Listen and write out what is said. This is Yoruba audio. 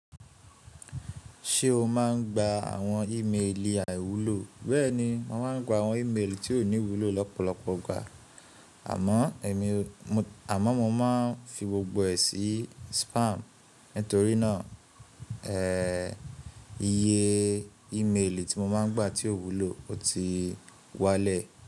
Ṣé o máa ń gba àwọn ìmeèlì àìwúlò? Bẹẹni, mo máa ń gba àwọn ìmeèlì tí ò ní wúlò lọ́pọ̀lọpọ̀ igbà àmọ́ èmi, àmọ́ mo máa ń fi gbogbo ẹ̀ sí spam. Nítorí náà, eh iye ìmeèlì tí mo máa ń gba tí ò wúlò ó ti wálẹ̀.